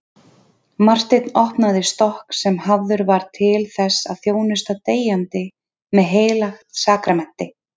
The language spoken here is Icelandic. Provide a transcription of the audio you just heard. Marteinn opnaði stokk sem hafður var til þess að þjónusta deyjandi með heilagt sakramenti.